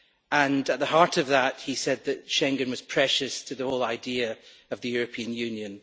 At the heart of that, he said that Schengen was precious to the whole idea of the European Union.